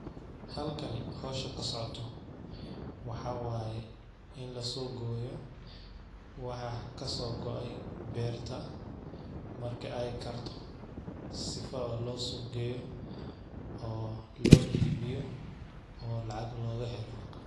Halkani hawsha kasocoto waxa waaye in la so gooyo. Waxaa ka soo go'ay beerta marka ay karto sifo loo suqeyo oo loo iibiyo oo lacag laga helo.